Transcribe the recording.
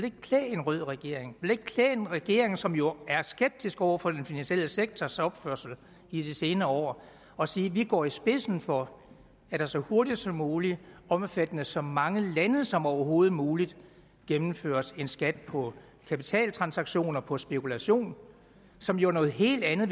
ikke klæde en rød regering en regering som jo er skeptisk over for den finansielle sektors opførsel i de senere år at sige at vi går i spidsen for at der så hurtigt som muligt og omfattende så mange lande som overhovedet muligt gennemføres en skat på kapitaltransaktioner på spekulation som jo er noget helt andet